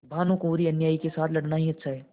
भानुकुँवरिअन्यायी के साथ लड़ना ही अच्छा है